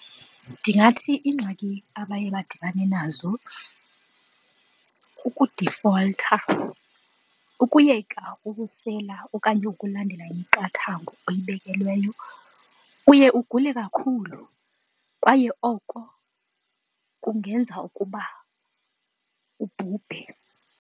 Ndingathi iingxaki abaye badibane nazo kukudifoltha, ukuyeka ukusela okanye ukulandela imiqathango oyibekelweyo uye ugule kakhulu kwaye oko kungenza ukuba ubhubhe.